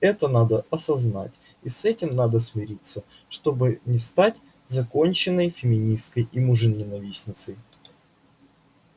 это надо осознать и с этим надо смириться чтобы не стать законченной феминисткой и мужененавистницей